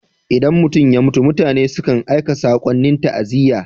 Idan mutum ya mutu, mutane sukan aika sakonnin ta'aziyya.